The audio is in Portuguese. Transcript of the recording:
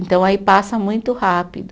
Então, aí passa muito rápido.